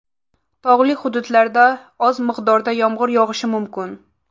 Tog‘li hududlarda oz miqdorda yomg‘ir yog‘ishi mumkin.